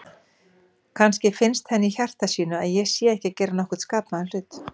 Kannski finnst henni í hjarta sínu að ég sé ekki að gera nokkurn skapaðan hlut.